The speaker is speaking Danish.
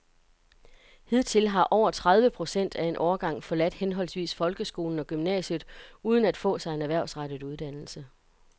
Hidtil har over tredive procent af en årgang forladt henholdsvis folkeskolen og gymnasiet uden at få sig en erhvervsrettet uddannelse.